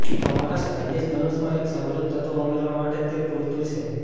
તમારા સ્ટાઇલિશ ધનુષમાં એક સમૃદ્ધ તત્વ ઉમેરવા માટે તે પૂરતું છે